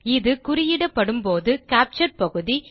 இது குறியிடப்படும்போது கேப்சர் பகுதி